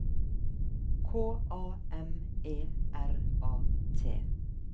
K A M E R A T